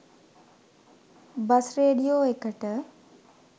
Bus radio එකට.